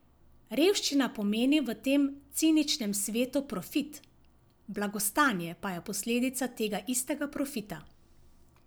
Revščina pomeni v tem ciničnem svetu profit, blagostanje pa je posledica tega istega profita.